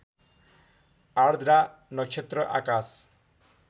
आर्द्रा नक्षत्र आकाश